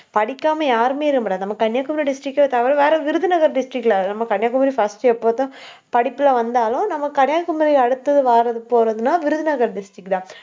படிக்காம யாருமே இருக்க முடியாது. நம்ம கன்னியாகுமரி district அ தவிர வேற விருதுநகர் district ல நம்ம கன்னியாகுமரி first எப்போதும் படிப்புல வந்தாலும் நம்ம கன்னியாகுமரி அடுத்தது, வார்றது போறதுன்னா விருதுநகர் district தான்